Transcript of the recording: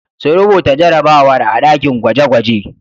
Su rubuta jarrabawar a ɗakin gwaje-gwaje.